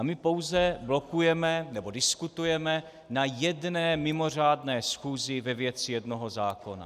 A my pouze blokujeme, nebo diskutujeme na jedné mimořádné schůzi ve věci jednoho zákona.